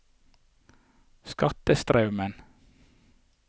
Skatestraumen